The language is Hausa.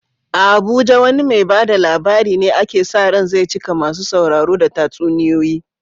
A Abuja wane mai ba da labari ne ake sa ran zai cika masu sauraro da tatsuniyoyi?